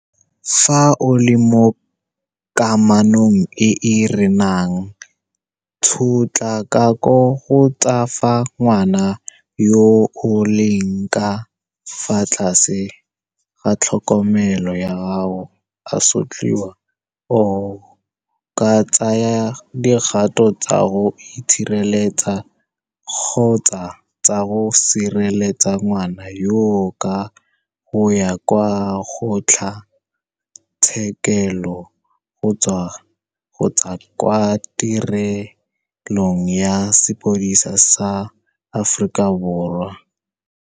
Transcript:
Fa o le mo kamanong e e renang tshotlakako kgotsa fa ngwana yo o leng ka fa tlase ga tlhokomelo ya gago a sotliwa, o ka tsaya dikgato tsa go itshireletsa kgotsa tsa go sireletsa ngwana yoo ka go ya kwa kgotlha tshekelo kgotsa kwa Tirelong ya Sepodisi sa Aforika Borwa, SAPS.